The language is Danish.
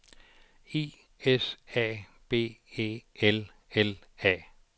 I S A B E L L A